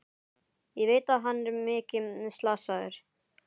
Ég veit að hann er mikið slasaður.